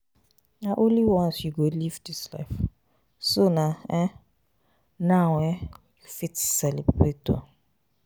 Na only once you go live dis life so na um now um you fit celebrate um.